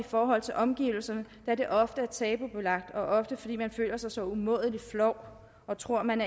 forhold til omgivelserne da det ofte er tabubelagt ofte fordi man føler sig så umådelig flov og tror man